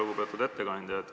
Lugupeetud ettekandja!